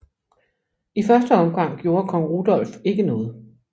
I første omgang gjorde kong Rudolf ikke noget